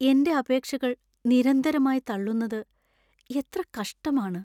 എന്‍റെ അപേക്ഷകൾ നിരന്തരമായി തള്ളുന്നത് എത്ര കഷ്ടമാണ്!